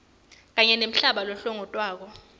kanye nemhlaba lohlongotwako